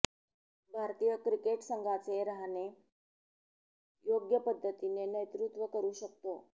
भारतीय क्रिकेट संघाचे रहाणे योग्य पद्धतीने नेतृत्व करु शकतो